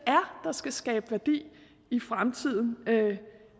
skal skabe værdi i fremtiden